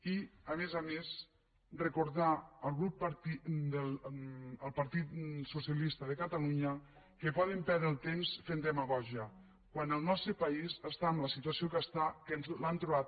i a més a més recordar al partit socialista de catalunya que poden perdre el temps fent demagògia quan el nostre país està en la situació en què està que ens hem l’hem trobada